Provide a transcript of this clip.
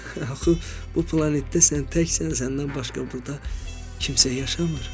Axı bu planetdə sən təksən, səndən başqa burda kimsə yaşamır.